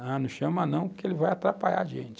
Ah, não chama não, porque ele vai atrapalhar a gente.